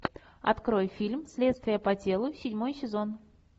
открой фильм следствие по телу седьмой сезон